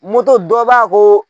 Moto dɔ b'a ko